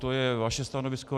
To je vaše stanovisko.